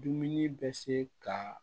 Dumuni bɛ se ka